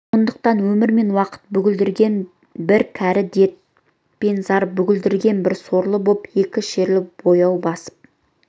сондықтан өмір мен уақыт бүгілдірген бір кәрі дерт пен зар бүгілдірген бір сорлы боп екі шерлі баяу басып